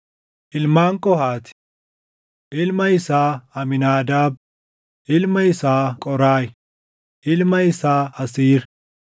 Ilmaan Qohaati: Ilma isaa Amiinaadaab, ilma isaa Qooraahi, ilma isaa Asiir,